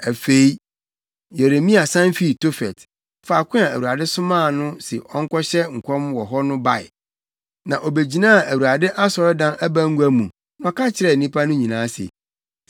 Afei Yeremia san fii Tofet, faako a Awurade somaa no se ɔnkɔhyɛ nkɔm wɔ hɔ no bae, na Obegyinaa Awurade asɔredan abangua mu na ɔka kyerɛɛ nnipa no nyinaa se,